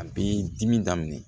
A bɛ dimi daminɛ